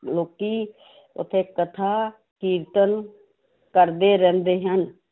ਲੋਕੀ ਉੱਥੇ ਕਥਾ ਕੀਰਤਨ ਕਰਦੇ ਰਹਿੰਦੇ ਹਨ।